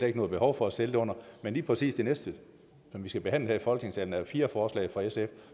ikke noget behov for at sælge det under men lige præcis det næste som vi skal behandle her i folketingssalen er jo fire forslag fra sf